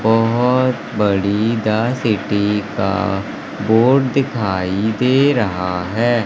बहोत बड़ी the city का बोर्ड दिखाई दे रहा हैं।